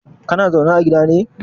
Kana zaune ne a gidan nan?